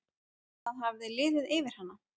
Það hafði liðið yfir hana!